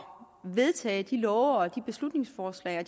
vedtage de love beslutningsforslag og